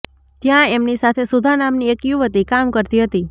ત્યાં એમની સાથે સુધા નામની એક યુવતી કામ કરતી હતી